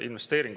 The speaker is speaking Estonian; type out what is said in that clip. Aitäh!